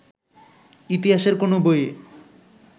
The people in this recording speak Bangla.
ইতিহাসের কোন বইয়ে